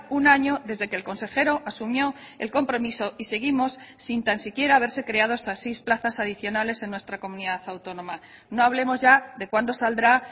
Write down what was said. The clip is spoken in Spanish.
un año desde que el consejero asumió el compromiso y seguimos sin tan siquiera haberse creado esas seis plazas adicionales en nuestra comunidad autónoma no hablemos ya de cuándo saldrá